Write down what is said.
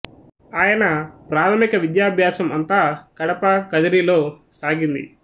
ఆయన ప్రాథమిక విద్యాభ్యాసం అంతా కడప కదిరి లో సాగింది